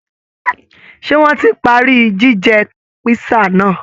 Ṣé wọ́n ti parí jíjẹ písà náà?